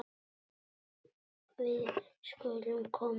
Við skulum koma